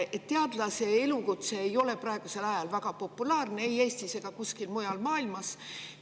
Teadlase elukutse ei ole praegusel ajal väga populaarne ei Eestis ega kuskil mujal maailmas.